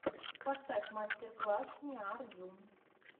поставь мастер класс ниар ю